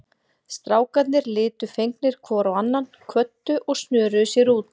Strákarnir litu fegnir hvor á annan, kvöddu og snöruðu sér út.